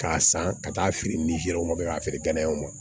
K'a san ka t'a feere ni yɔrɔ ma kɛ k'a feere ganaw ma